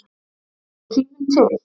Er tíminn til?